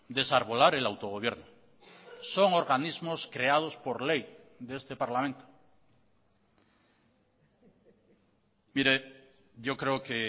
desarbolar el autogobierno son organismos creados por ley de este parlamento mire yo creo que